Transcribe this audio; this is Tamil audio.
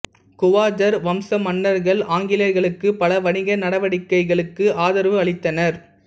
குவாஜர் வம்ச மன்னர்கள் ஆங்கிலேயர்களுக்கு பல வணிக நடவடிக்கைகளுக்கு ஆதரவு அளித்தனர்